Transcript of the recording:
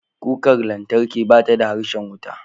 Kukar lantarki bata da harshen wuta.